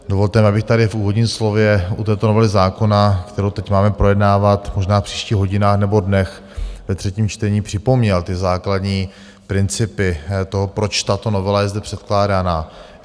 Dovolte mi, abych tady v úvodním slově u této novely zákona, kterou teď máme projednávat možná v příštích hodinách nebo dnech ve třetím čtení, připomněl ty základní principy toho, proč tato novela je zde předkládaná.